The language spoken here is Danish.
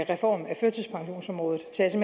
reform af førtidspensionsområdet så jeg